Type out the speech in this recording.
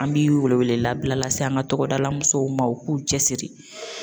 An bi wele wele labila lase an ka tɔgɔdala mɔsow ma u k'u cɛ siri.